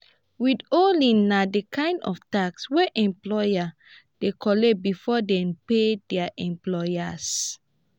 withholding na di kind of tax wey employer dey collect before dem pay their employers